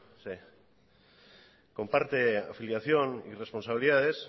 en tanto que comparte afiliación y responsabilidades